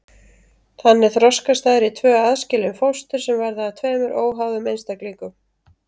Þannig þroskast þær í tvö aðskilin fóstur sem verða að tveimur óháðum einstaklingum.